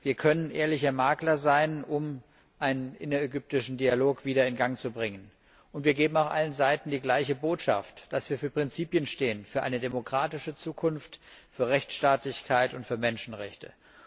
Wir können ehrliche Makler sein, um einen innerägyptischen Dialog wieder in Gang zu setzen. Wir vermitteln auch allen Seiten die gleiche Botschaft dass wir für Prinzipien stehen, für eine demokratische Zukunft, für Rechtsstaatlichkeit und für Menschenrechte.